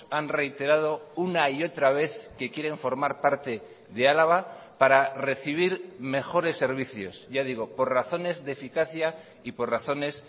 han reiterado una y otra vez que quieren formar parte de álava para recibir mejores servicios ya digo por razones de eficacia y por razones